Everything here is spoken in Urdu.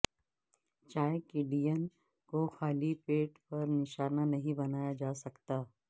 چائے کڈین کو خالی پیٹ پر نشانہ نہیں بنایا جا سکتا